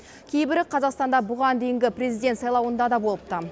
кейбірі қазақстанда бұған дейінгі президент сайлауында да болыпты